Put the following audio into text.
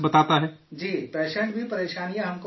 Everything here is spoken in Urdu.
جی، پیشنٹ بھی پریشانی ہم کو بتاتا ہے